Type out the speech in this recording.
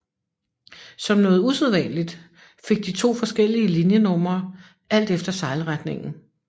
Som noget usædvanligt fik de to forskellige linjenumre alt efter sejlretningen